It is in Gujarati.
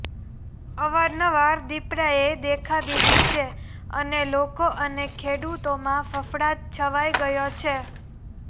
અવારનવાર દિપડાએ દેખા દીધી છે અને લોકો અને ખેડૂતોમાં ફફડાટ છવાઈ ગયો છે